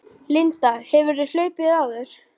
Linda: Hefurðu hlaupið áður?